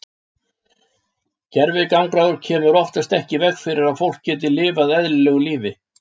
Gervigangráður kemur oftast ekki í veg fyrir að fólk geti lifað eðlilegu lífi.